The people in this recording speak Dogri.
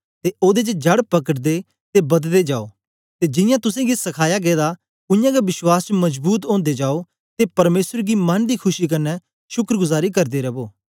ते ओदे च जड़ पकड़दे ते बददे जाओ ते जियां तुसेंगी सखाया गेदा उयांगै विश्वास च मजबूत ओदे जाओ ते परमेसर गी मन दी खुशी कन्ने शुक्रगुजारी करदे रवो